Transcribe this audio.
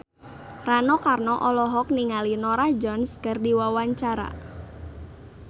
Rano Karno olohok ningali Norah Jones keur diwawancara